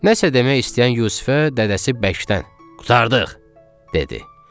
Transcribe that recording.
Nəsə demək istəyən Yusifə dədəsi bəkdən qurtardıq, dedi.